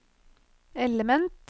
element